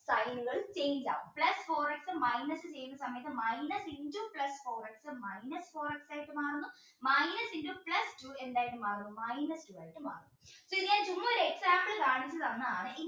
sign ഉകൾ change ആവും plus four x minus ചെയ്യുന്ന സമയത്ത് minus into plus four x minus four x ആയിട്ട് മാറുന്നു minus into plus two എന്തായിട്ട് മാറുന്നു